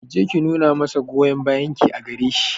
Ki je ki nuna masa goyon bayan ki a gare shi